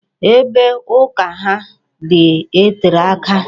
Ebe ụka ha dị tere aka.